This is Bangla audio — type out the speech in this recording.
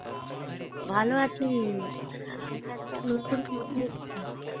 ভালো আছি, আমি তো একটা নতুন phone কিনেছি